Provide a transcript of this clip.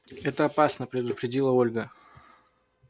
это опасно предупредила ольга